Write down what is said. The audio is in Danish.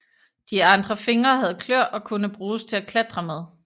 De andre fingre havde kløer og kunne bruges til at klatre med